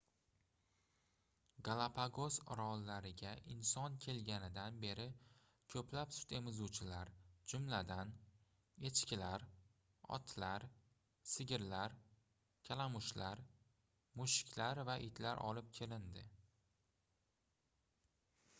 galapagos orollariga inson kelganidan beri koʻplab sut emizuvchilar jumladan echkilar otlar sigirlar kalamushlar mushuklar va itlar olib kelindi